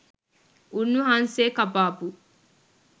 උන්වහන්සේ කපාපු